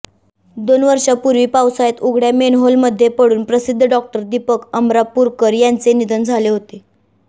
दोन वर्षांपूर्वी पावसाळ्यात उघड्या मेनहोलमध्ये पडून प्रसिध्द डॉक्टर दिपक अमरापूरकर यांचे निधन झाले होते